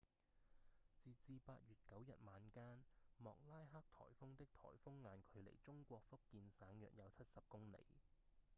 截至8月9日晚間莫拉克颱風的颱風眼距離中國福建省約有七十公里